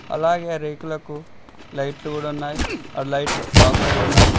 అలాగే ఆ రేకులకు లైట్లు కూడా ఉన్నాయి ఆ లైట్లు ఆఫ్ అయ్యి ఉన్నాయి.